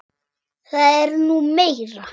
Það er nú meira.